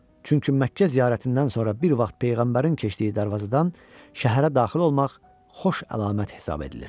Çünki Məkkə ziyarətindən sonra bir vaxt peyğəmbərin keçdiyi darvazadan şəhərə daxil olmaq xoş əlamət hesab edilir.